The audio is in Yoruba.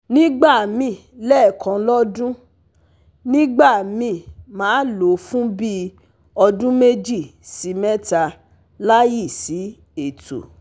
Nigba míì lekan lodun, nigba mi ma lo fun bi odun meji si meta layi si eto